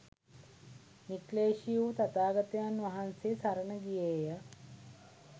නික්ලේශි වූ තථාගතයන් වහන්සේ සරණ ගියේය.